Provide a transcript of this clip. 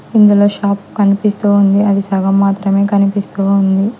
ఇందులో షాప్ కనిపిస్తుంది అది సగం మాత్రమే కనిపిస్తూ ఉంది.